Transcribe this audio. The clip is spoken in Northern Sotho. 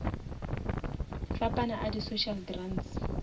fapana a di social grants